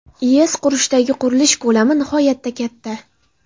IESdagi qurilish ko‘lami nihoyatda katta.